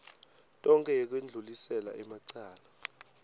tonkhe yekwendlulisela emacala